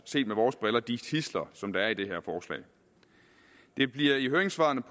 set med vores briller de tidsler som er i det her forslag det bliver i høringssvaret